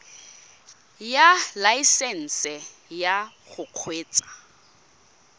ya laesesnse ya go kgweetsa